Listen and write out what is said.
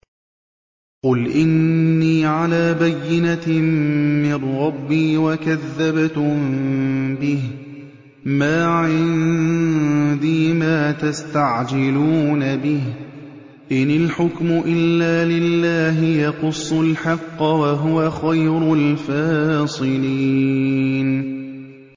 قُلْ إِنِّي عَلَىٰ بَيِّنَةٍ مِّن رَّبِّي وَكَذَّبْتُم بِهِ ۚ مَا عِندِي مَا تَسْتَعْجِلُونَ بِهِ ۚ إِنِ الْحُكْمُ إِلَّا لِلَّهِ ۖ يَقُصُّ الْحَقَّ ۖ وَهُوَ خَيْرُ الْفَاصِلِينَ